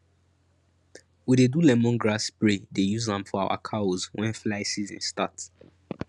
we dey do lemongrass spray dey use am for our cows wen fly season start